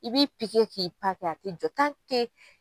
I b'i i pi kɛ k'i pa kɛ a tɛ jɔ